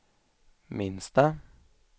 minsta